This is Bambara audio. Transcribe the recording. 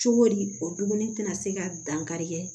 Cogodi o dumuni tɛna se ka dankari kɛ